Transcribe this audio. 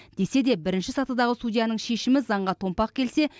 десе де бірінші сатыдағы судьяның шешімі заңға томпақ келсе